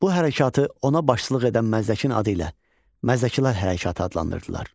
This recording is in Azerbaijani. Bu hərəkatı ona başçılıq edən Məzdəkin adı ilə Məzdəkilər hərəkatı adlandırırdılar.